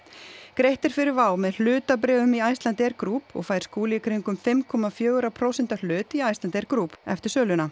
greitt er fyrir WOW með hlutabréfum í Icelandair Group og fær Skúli í kringum fimm komma fjögurra prósenta hlut í Icelandair Group eftir söluna